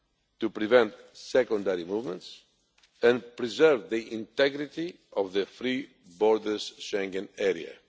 to prevent secondary movements and preserve the integrity of the free-borders Schengen area.